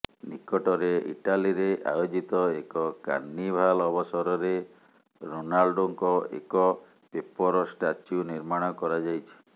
ନିକଟରେ ଇଟାଲୀରେ ଆୟୋଜିତ ଏକ କାର୍ନିଭାଲ ଅବସରରେ ରୋନାଲଡୋଙ୍କ ଏକ ପେପର ଷ୍ଟାଚ୍ୟୁ ନିର୍ମାଣ କରାଯାଇଛି